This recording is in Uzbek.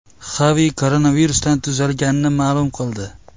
Xavi koronavirusdan tuzalganini ma’lum qildi.